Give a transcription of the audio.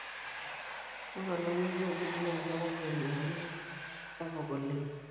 ore olameyu obik naa keyau enyaali sapuk oleng